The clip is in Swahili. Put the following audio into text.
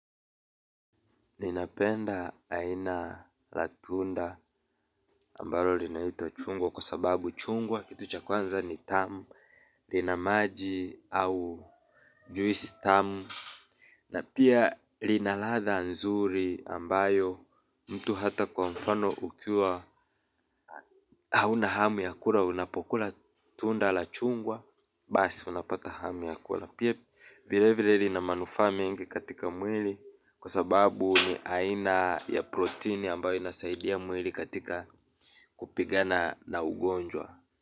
Ninapenda aina la tunda ambalo linaitwa chungwa kwa sababu chungwa kitu cha kwanza ni tamu lina maji au juisi tamu na pia lina ladha nzuri ambayo mtu hata kwa mfano ukiwa hunahamu ya kula unapokula tunda la chungwa basi unapata hamu ya kula. Pia vile vile lina manufaa mingi katika mwili kwa sababu ni aina ya proteini ambayo inasaidia mwili katika kupigana na ugonjwa.